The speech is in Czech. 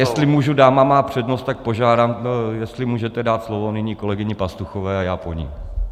Jestli můžu, dáma má přednost, tak požádám, jestli můžete dát slovo nyní kolegyni Pastuchové a já po ní.